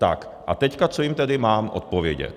Tak a teď co jim tedy mám odpovědět?